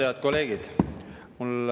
Head kolleegid!